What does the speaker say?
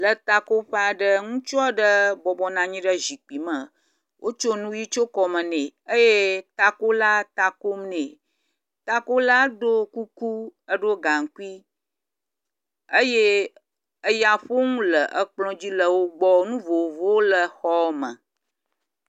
Etakoƒe aɖe. Ŋutsu aɖe bɔbɔnɔ anyi ɖe zikpui me wotso nu ʋi tso kɔme nɛ. Takola ɖo kuku eɖo gaŋkui eye eyaƒonu le klɔ di le wo gbɔ. Nu vovovowo le xɔ me.